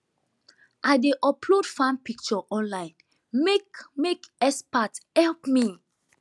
i dey upload farm picture online make make expert help me